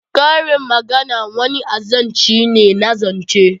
Karin magana wani azanci ne na zance